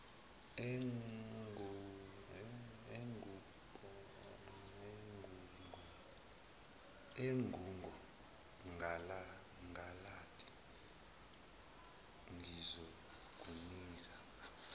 engugo galanti ngizokunika